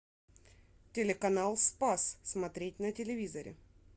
телеканал спас смотреть на телевизоре